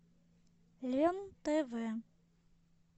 лен тв